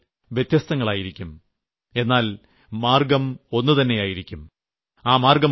മുൻഗണന ക്രമങ്ങൾ വ്യത്യസ്തങ്ങളായിരിക്കും എന്നാൽ മാർഗ്ഗം ഒന്നുതന്നെയായിരിക്കും